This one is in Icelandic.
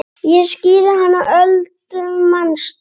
Ég skírði hana Öldu manstu.